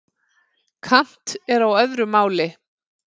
Kant er á öðru máli.